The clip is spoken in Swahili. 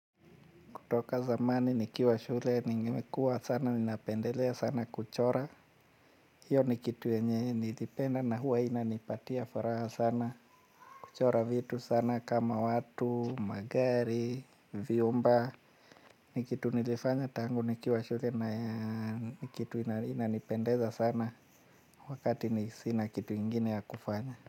Kutoka zamani nikiwa shule, nimekua sana, ninapendelea sana kuchora. Hiyo ni kitu yenye nilipenda na huwa inanipatia furaha sana. Kuchora vitu sana kama watu, magari, vyumba. Ni kitu nilifanya tangu nikiwa shule na kitu inanipendeza sana wakati ni sina kitu ingine ya kufanya.